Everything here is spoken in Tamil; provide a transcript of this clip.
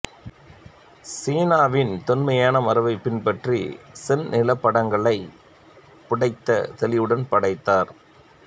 சீனாவின் தொன்மையான மரபைப் பின்பற்றி சென் நிலப்படங்களை புடைத்த தெளிவுடன் படைத்தார்